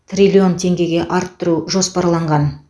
триллион теңгеге арттыру жоспарланған